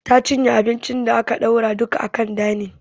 Ta cinye abincin da aka ɗora a kan danin